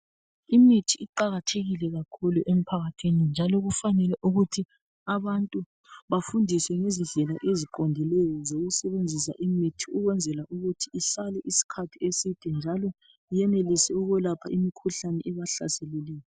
Imithi iqalathekile kakhulu emphakathini njalo kufanele ukuthi abantu bafundiswe ngezindlela eziqondileyo zokusebenzisa imithi ukwenzela ukuthi ihlale isikhathi eside njalo iyenelisa ukwelapha imikhuhlane ebahlaseleyo.